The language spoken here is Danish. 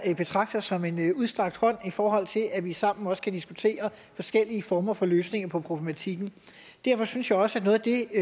jeg betragter som en udstrakt hånd i forhold til at vi sammen også kan diskutere forskellige former for løsninger på problematikken derfor synes jeg også at noget af det